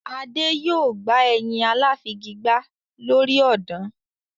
Adé yòó gba ẹyin aláfigigbá lórí ọ̀dàn.